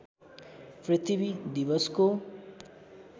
पृथ्वी दिवसको